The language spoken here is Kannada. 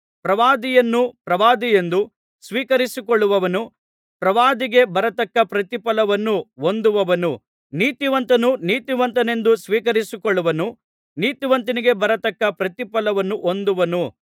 ಪ್ರವಾದಿಯನ್ನು ಪ್ರವಾದಿಯೆಂದು ಸ್ವೀಕರಿಸಿಕೊಳ್ಳುವವನು ಪ್ರವಾದಿಗೆ ಬರತಕ್ಕ ಪ್ರತಿಫಲವನ್ನು ಹೊಂದುವನು ನೀತಿವಂತನನ್ನು ನೀತಿವಂತನೆಂದು ಸ್ವೀಕರಿಸಿಕೊಳ್ಳುವವನು ನೀತಿವಂತನಿಗೆ ಬರತಕ್ಕ ಪ್ರತಿಫಲವನ್ನು ಹೊಂದುವನು